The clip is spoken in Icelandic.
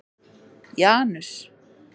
Janus